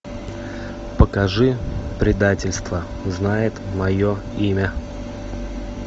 покажи предательство знает мое имя